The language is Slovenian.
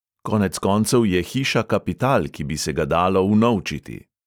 Konec koncev je hiša kapital, ki bi se ga dalo unovčiti.